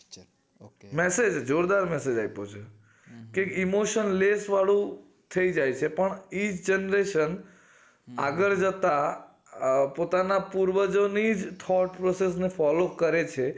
message જોરદાર message આપો છે કે emotion less વાળું થાય જાય છે પણ generation આગળ જતા આ પોતા ના પૂર્વજો ની જ third process ને જ follow કરે છે